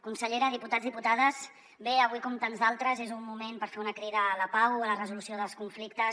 consellera diputats diputades bé avui com tants d’altres és un moment per fer una crida a la pau a la resolució dels conflictes